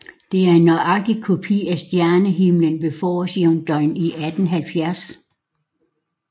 Det er en nøjagtig kopi af stjernehimlen ved forårsjævndøgn i 1870